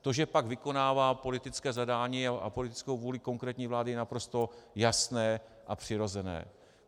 To, že pak vykonává politická zadání a politickou vůli konkrétní vlády, je naprosto jasné a přirozené.